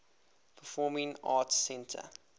performing arts center